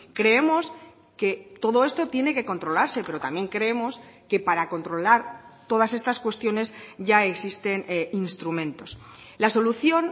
creemos que todo esto tiene que controlarse pero también creemos que para controlar todas estas cuestiones ya existen instrumentos la solución